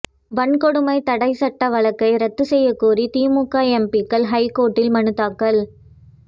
வன்கொடுமை தடை சட்ட வழக்கை ரத்து செய்யக் கோரி திமுக எம்பிக்கள் ஹைகோர்ட்டில் மனுத்தாக்கல்